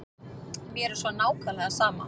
Mér er svo nákvæmlega sama.